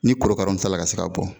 Ni korokara min sela ka se ka bɔ